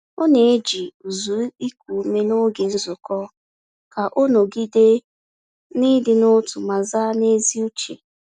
Ọ na-eji ụzụ iku ume n’oge nzukọ ka o nọgide na ịdị n’otu ma zaa n’ezi uche.